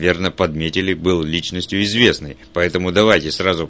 верно подметили был личностью известной поэтому давайте сразу